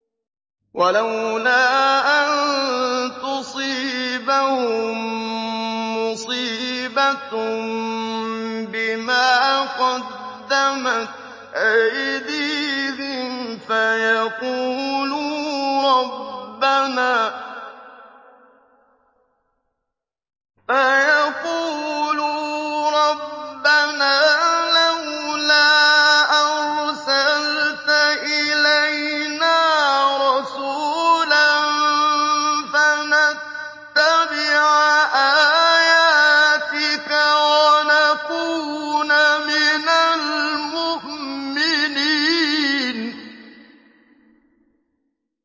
وَلَوْلَا أَن تُصِيبَهُم مُّصِيبَةٌ بِمَا قَدَّمَتْ أَيْدِيهِمْ فَيَقُولُوا رَبَّنَا لَوْلَا أَرْسَلْتَ إِلَيْنَا رَسُولًا فَنَتَّبِعَ آيَاتِكَ وَنَكُونَ مِنَ الْمُؤْمِنِينَ